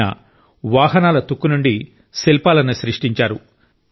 ఆయన వాహనాల తుక్కు నుండి శిల్పాలను సృష్టించారు